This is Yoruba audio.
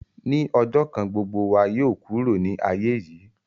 Ní ọjọ̀ kan gbogbo wa yóò kúrò ni aiye yìí